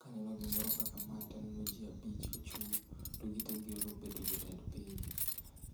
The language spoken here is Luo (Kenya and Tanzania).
Kaneno gimoro kaka mae taneno ji abich ochung' to gite gioro bedo jotend pinje.